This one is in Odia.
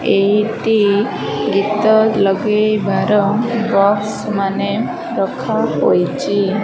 ଏଇଟି ଗୀତ ଲଗେଇବାର ବକ୍ସ ମାନେ ରଖାହୋଇଚି।